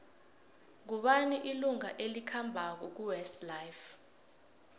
ngubani ilunga elikhambako kuwest life